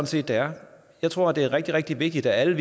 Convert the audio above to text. set det er jeg tror at det er rigtig rigtig vigtigt at alle